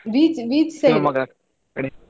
Beach beach side